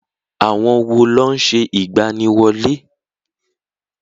Àwọn wo ló ń ṣe ìgbaniwọlé?